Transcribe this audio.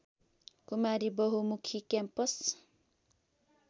कुमारी बहुमुखी क्याम्पस